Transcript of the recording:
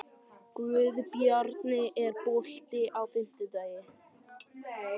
Guðbjarni, er bolti á fimmtudaginn?